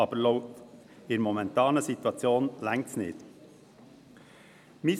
Aber in der momentanen Situation reicht das nicht aus.